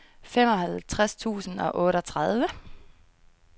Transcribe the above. femoghalvtreds tusind og otteogtredive